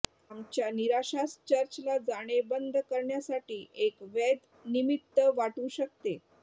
आमच्या निराशास चर्चला जाणे बंद करण्यासाठी एक वैध निमित्त वाटू शकते